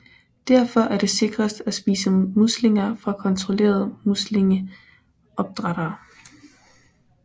Derfor er det sikrest at spise muslinger fra kontrollerede muslingeopdrættere